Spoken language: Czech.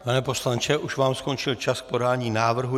Pane poslanče, už vám skončil čas k podání návrhu.